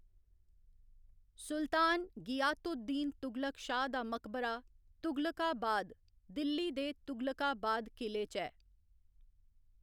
सुल्तान गियात उद दीन तुगलक शाह दा मकबरा तुगलकाबाद, दिल्ली दे तुगलकाबाद किले च ऐ।